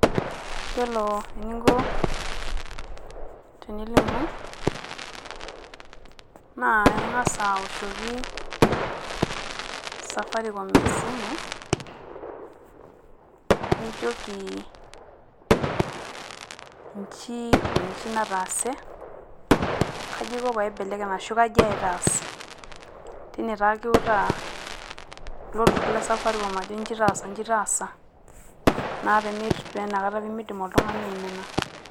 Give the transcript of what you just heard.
Yiolo eninko tenilimu naa ing`as awoshoki Safaricom esimu nijoki inji o nji nataase, kaji aiko tenaibelekeny ashu kaji aitaas, teine taa kiwutaa ilo turrur le Safaricom ajo inji taasa inji taasa naa ina kata pee meidim oltung`ani aimina.